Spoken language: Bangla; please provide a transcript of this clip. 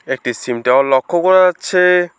একটি সিম টাওয়ার লক্ষ করা যাচ্ছে।